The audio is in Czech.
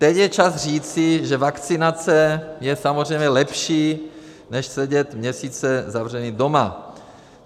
Teď je čas říci, že vakcinace je samozřejmě lepší než sedět měsíce zavření doma.